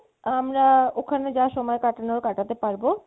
আমরা ওখানে যা সময় কাটানোর কাটাতে পারবো